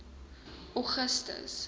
augustus